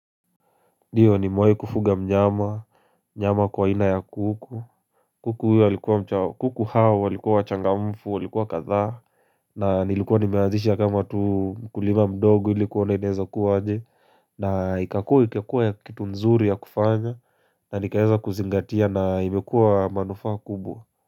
Ndio nimewai kufuga mnyama, mnyama kwa aina ya kuku kuku huyo alikuwa mchao, kuku hao walikuwa wachangamfu, walikuwa kadhaa na nilikuwa nimeanzisha kama tu kulima mdogo ilikuona inaeza kuwa aje na ikakua ikakua ya kitu nzuri ya kufanya na nikaeza kuzingatia na imekuwa manufaa kubwa.